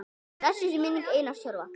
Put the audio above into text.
Blessuð sé minning Einars Tjörva.